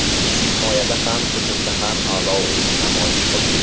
Biz himoyada ham, hujumda ham a’lo o‘yin namoyish qildik.